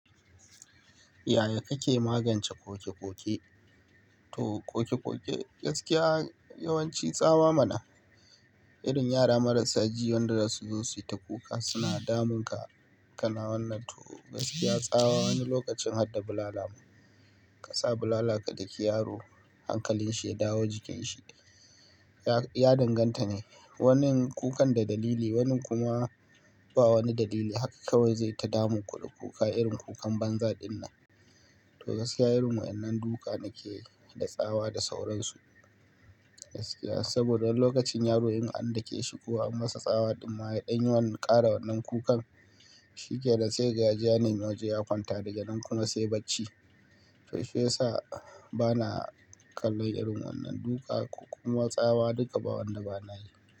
Yaya kake magance koke-koke? To ƙoke-ƙoke gaskiya yawanci tsawa mana. Irin yara marasa ji wanda za su zo su yi ta kuka suna damun ka. Kana wannan to gaskiya tsawa wani lokacin hadda bulala mu. Ka sa bulala ka daki yaro hankalin shi ya dawo jikin shi, ya danganta ne. Wani kukan da dalili, wani kuma ba wani dalili. Haka kawai zai ta damun ku da kuka irin kukan banza dinnan. To gaskiya irin wa'yannan duka nakeyi da tsawa da sauransu. Gaskiya saboda wani lokacin yaro in an dake shi ko an masa tsawa ɗimma ya ɗan yi wannan ƙara wannan kukan shi kenan sai kaga yaje ya nemi waje ya kwanta daga nan kuma sai bacci. To shiyasa bana kallo irin wannan duka ko kuma tsawa duka ba wanda bana yi.